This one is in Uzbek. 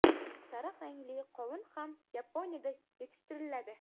Sariq rangli qovun ham Yaponiyada yetishtiriladi.